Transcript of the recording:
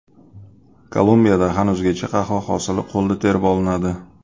Kolumbiyada hanuzgacha qahva hosili qo‘lda terib olinadi.